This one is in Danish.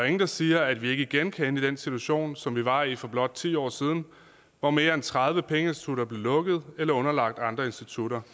ingen der siger at vi ikke igen kan ende i den situation som vi var i for blot ti år siden hvor mere end tredive pengeinstitutter blev lukket eller underlagt andre institutter